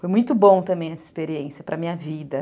Foi muito bom também essa experiência para a minha vida.